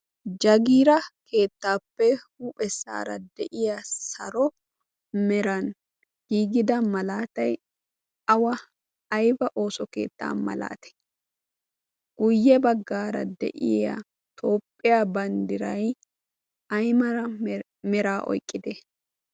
jagiira keettaappe huuphessaara de'iya saro meran giigida malaatay awa ayba ooso keettaa malaati guyye baggaara de'iya toopphiyaa banddiray ay mala mera oyqqite